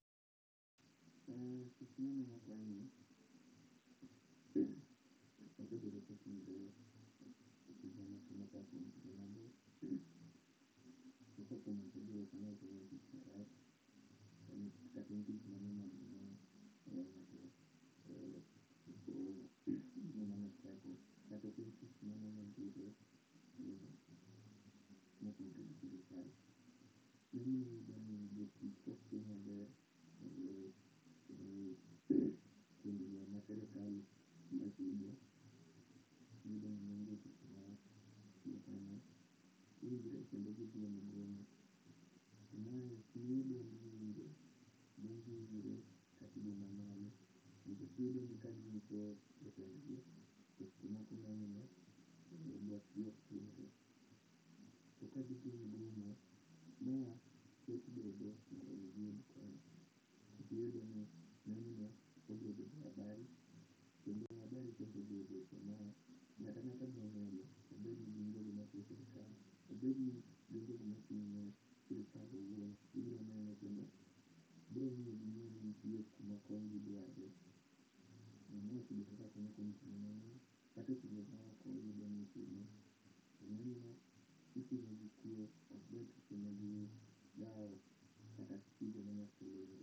not audible